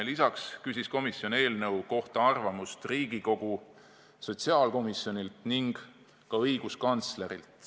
Lisaks küsis komisjon eelnõu kohta arvamust Riigikogu sotsiaalkomisjonilt ning ka õiguskantslerilt.